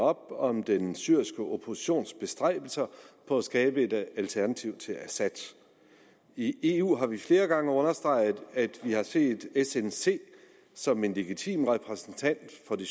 op om den syriske oppositions bestræbelser på at skabe et alternativ til assad i eu har vi flere gange understreget at vi har set snc som en legitim repræsentant for det